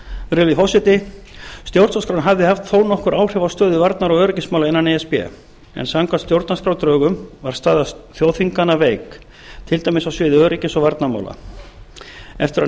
höfnuðu virðulegi forseti stjórnarskráin hafði haft þó nokkur áhrif á stöðu varnar og öryggismála innan e s b en samkvæmt stjórnarskrárdrögum var staða þjóðþinganna veik til dæmis á sviði öryggis og varnarmál eftir að